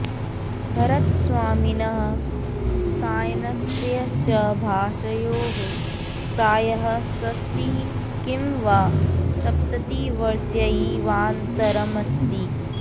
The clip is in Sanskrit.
भरतस्वामिनः सायणस्य च भाष्ययोः प्रायः षष्टिः किं वा सप्ततिवर्षस्यैवान्तरमस्ति